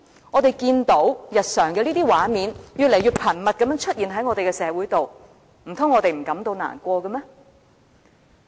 我們日常看到這些畫面越來越頻密地出現在社會，難道我們不會感到難過嗎？